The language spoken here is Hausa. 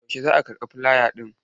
Yaushe za a karɓi filaya ɗin?